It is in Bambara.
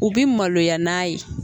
U bi maloya n'a ye.